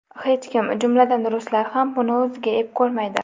Hech kim, jumladan, ruslar ham buni o‘ziga ep ko‘rmaydi.